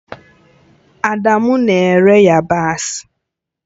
Adamu na-ere yabasị